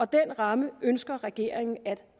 den ramme ønsker regeringen at